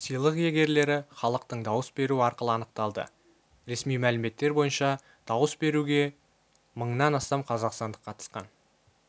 сыйлық иегерлері іалықтың дауыс беруі арқылы анықталды ресми мәліметтер бойынша дауыс беруге мыңнан астам қазақстандық қатысқан